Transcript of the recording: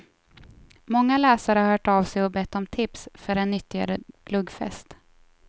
Många läsare har hört av sig och bett om tips för en nyttigare glöggfest.